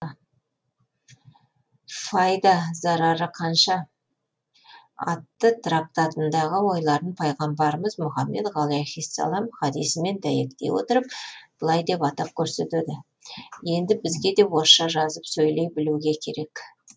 файда зарары қанша атты трактатындағы ойларын пайғамбарымыз мұхаммед ғалаиссәләмнің хадисімен дәйектей отырып былай деп атап көрсетеді енді бізге де орысша жазып сөйлей білуге керек